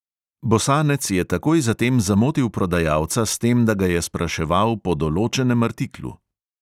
Bosanec je takoj zatem zamotil prodajalca s tem, da ga je spraševal po določenem artiklu.